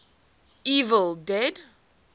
evil dead